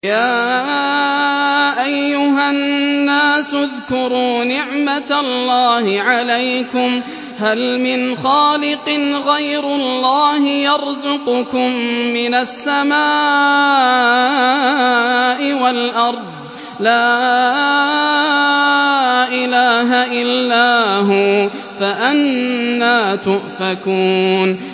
يَا أَيُّهَا النَّاسُ اذْكُرُوا نِعْمَتَ اللَّهِ عَلَيْكُمْ ۚ هَلْ مِنْ خَالِقٍ غَيْرُ اللَّهِ يَرْزُقُكُم مِّنَ السَّمَاءِ وَالْأَرْضِ ۚ لَا إِلَٰهَ إِلَّا هُوَ ۖ فَأَنَّىٰ تُؤْفَكُونَ